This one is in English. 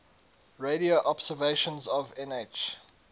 radio observations of nh